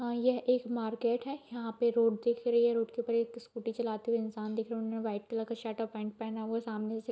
अ यह एक मार्केट है यहाँ पे एक रोड दिख रही है रोड के ऊपर एक स्कूटी चलाते हुए एक इंसान दिखा रहा है उन्होंने व्हाइट कलर का शर्ट और पैंट पहना हुआ है सामने से --